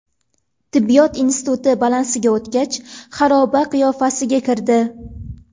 Tibbiyot instituti balansiga o‘tgach, xaroba qiyofasiga kirdi.